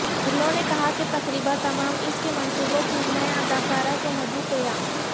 انہوں نے کہا کہ تقریبا تمام اس کے منصوبوں کی میں اداکارہ کو مدعو کیا